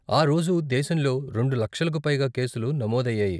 ఆ రోజు దేశంలో రెండు లక్షలకు పైగా కేసులు నమోదు అయ్యాయి.